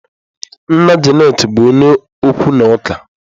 Nna Janet bụ onye okwu na ụka.